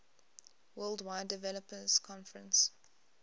worldwide developers conference